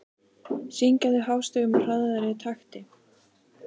Syngja þau hástöfum í hraðari takti.